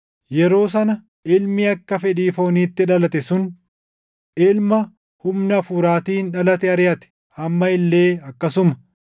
Yeroo sana ilmi akka fedhii fooniitti dhalate sun ilma humna Hafuuraatiin dhalate ariʼate. Amma illee akkasuma.